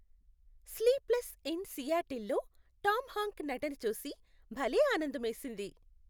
"Sleepless in Seattle" లో Tom Hank నటన చూసి భలే ఆనందమేసింది.